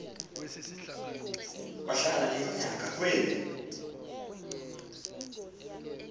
wahlala iminyaka kweli